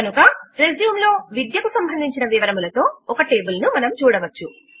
కనుక రెజ్యూమ్ లో విద్యకు సంబంధించిన వివరములతో ఒక టేబుల్ ను మనము చూడవచ్చు